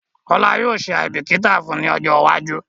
Kola yóò ṣe aìbíkítà fun ni ọjọ́ iwájú